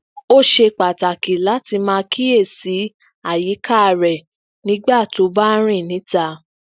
ó ṣe pàtàkì lati máa kíyèsí àyíká rẹ nígbà tó o bá ń rin níta